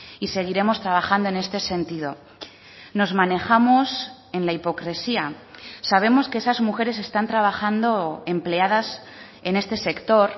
y seguiremos trabajando en este sentido nos manejamos en la hipocresía sabemos que esas mujeres están trabajando empleadas en este sector